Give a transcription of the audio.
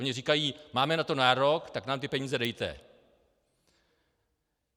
Oni říkají: Máme na to nárok, tak nám ty peníze dejte.